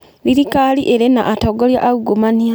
Thirikari ĩrĩ na atongoria aungumania.